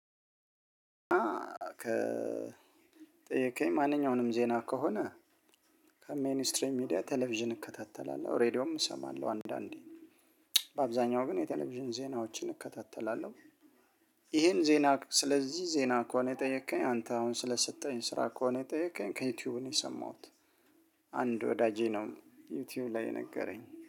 ከጠየከኝ ማንኛውንም ዜና ከሆነ ከሜይኒ ስትሪም ሚዲያ ቴሌቪዥን እከታተላለሁ ሬዲዮም እሰማለሁ አንዳንዴ በአብዛኛው ግን የቴሌቪዥን ዜናዎችን እከታተላለሁ። ይሄን ዜና ስለዚህ ዜና ከሆነ የጠየከኝ አንተ አሁን ስለሰጠኸኝ ስራ ከሆነ የጠየከኝ ከዩቲዩብ ነው የሰማሁት። አንድ ወዳጄ ነው ዩቲዩብ ላይ የነገረኝ